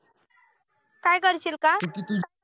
काय करशील का